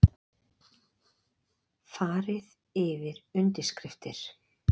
Farið yfir undirskriftir